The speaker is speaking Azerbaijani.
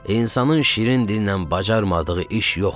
İnsanın şirin dillə bacarmadığı iş yoxdur.